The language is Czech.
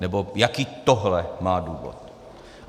Nebo jaký tohle má důvod?